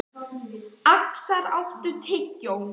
Öxar, áttu tyggjó?